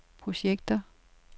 projekter